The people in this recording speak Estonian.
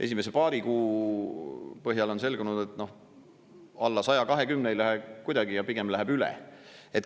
Esimese paari kuu põhjal on selgunud, et alla 120 miljoni euro ei lähe kuidagi ja pigem läheb üle.